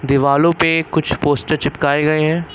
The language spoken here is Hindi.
दीवालो पे कुछ पोस्टर चिपकाए गए हैं।